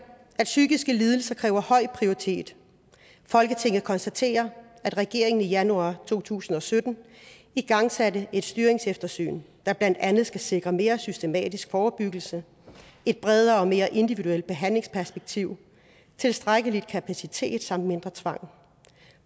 at psykiske lidelser kræver høj prioritet folketinget konstaterer at regeringen i januar to tusind og sytten igangsatte et styringseftersyn der blandt andet skal sikre mere systematisk forebyggelse et bredere og mere individuelt behandlingsperspektiv tilstrækkelig kapacitet samt mindre tvang